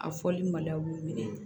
A fɔli ma da b'u minɛ